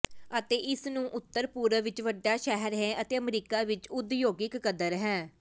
ਅਤੇ ਇਸ ਨੂੰ ਉੱਤਰ ਪੂਰਬ ਵਿੱਚ ਵੱਡਾ ਸ਼ਹਿਰ ਹੈ ਅਤੇ ਅਮਰੀਕਾ ਵਿਚ ਉਦਯੋਗਿਕ ਕਦਰ ਹੈ